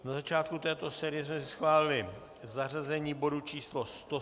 Na začátku této série jsme si schválili zařazení bodu číslo